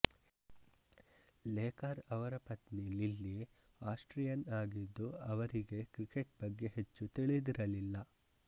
Laker ಅವರ ಪತ್ನಿ Lilly Austrian ಆಗಿದ್ದು ಅವರಿಗೆ ಕ್ರಿಕೆಟ್ ಬಗ್ಗೆ ಹೆಚ್ಚು ತಿಳಿದಿರಲಿಲ್ಲ